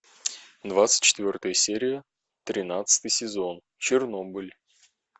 двадцать четвертая серия тринадцатый сезон чернобыль